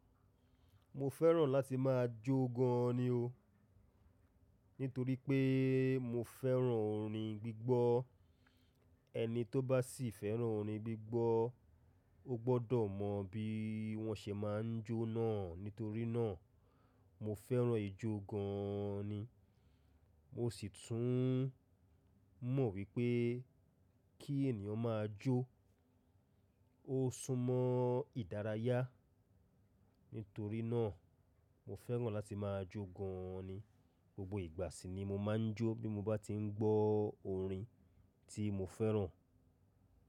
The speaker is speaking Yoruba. Mo fẹ́ràn láti máa jó gan an ni o. Nítorí pé mo fẹ́ràn orin gbígbọ́. Ẹni tó bá sì fẹ́ràn orin gbígbọ́, ó gbọ́dọ̀ mọ bí wọ́n ṣe máa ń jó náà. Nítorí náà, mo fẹ́ràn ijó gan an ni. Mo sì tún mọ̀ wípé kí ènìyàn máa jó, ó sún mọ́ ìdárayá. Nítorí náà, mo fẹ́ràn láti máa jó gan an ni. Gbogbo ìgbà sì ni mo máa ń jó bí mo bá ti ń gbọ́ orin tí mo fẹ́ràn.